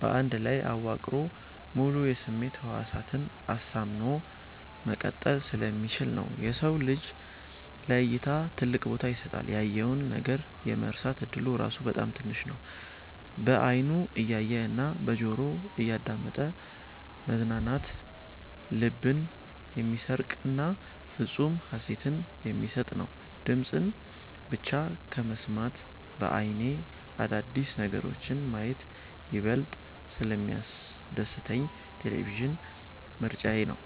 በአንድ ላይ አዋቅሮ ሙሉ የስሜት ህዋሳትን አሳምኖ መቀጠል ስለሚችል ነው። የሰው ልጅ ለ እይታ ትልቅ ቦታ ይሰጣል። ያየውን ነገር የመርሳት እድሉ ራሱ በጣም ትንሽ ነው። በ አይኑ እያየ እና በጆሮው እያዳመጠ መዝናናት ልብን የሚሰርቅና ፍፁም ሃሴትን የሚሰጥ ነው። ድምፅን ብቻ ከመስማት በ አይኔ አዳዲስ ነገሮችን ማየት ይበልጥ ስለሚያስደስተኝ ቴሌቪዥን ምርጫዬ ነው።